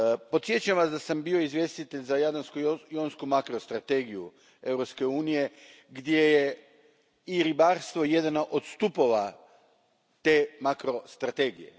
Podsjećam vas da sam bio izvjestitelj za jadransku i jonsku makrostrategiju Europske unije gdje je i ribarstvo jedan od stupova te makrostrategije.